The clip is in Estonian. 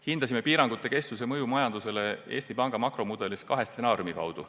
Hindasime piirangute kestuse mõju majandusele Eesti Panga makromudelis kahe stsenaariumi kaudu.